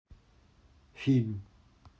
фильм